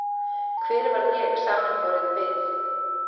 Hver var ég samanborið við